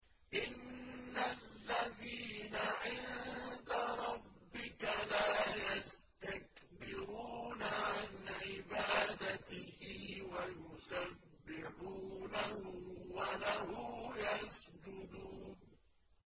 إِنَّ الَّذِينَ عِندَ رَبِّكَ لَا يَسْتَكْبِرُونَ عَنْ عِبَادَتِهِ وَيُسَبِّحُونَهُ وَلَهُ يَسْجُدُونَ ۩